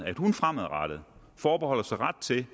hun fremadrettet forbeholder sig ret til